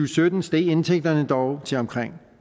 sytten steg indtægterne dog til omkring